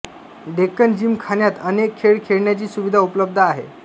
डेक्कन जिमखान्यात अनेक खेळ खेळण्याची सुविधा उपलब्ध आहे